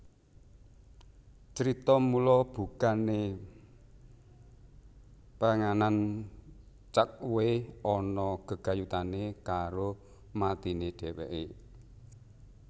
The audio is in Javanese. Crita mula bukane penganan Cakhwe ana gegayutane karo matine dheweke